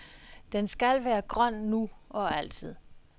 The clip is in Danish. Den skal være grøn nu og altid.